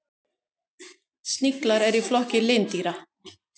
Sniglar eru í flokki lindýra.